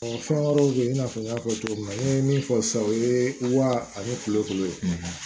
fɛn wɛrɛw bɛ ye i n'a fɔ n y'a fɔ cogo min na n ye min fɔ sisan o ye wa ani kulokolo ye